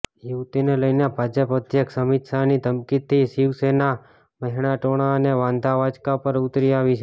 યુવતિને લઈને ભાજપ અધ્યક્ષ અમિત શાહની ધમકીથી શિવસેના મહેણાટોણાં અને વાંધાવચકા પર ઊતરી આવી છે